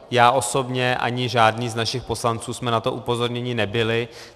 Já osobně ani žádný z našich poslanců jsme na to upozorněni nebyli.